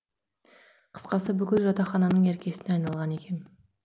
қысқасы бүкіл жатақхананың еркесіне айналған екем